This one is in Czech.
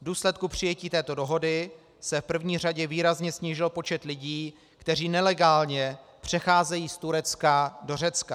V důsledku přijetí této dohody se v první řadě výrazně snížil počet lidí, kteří nelegálně přecházejí z Turecka do Řecka.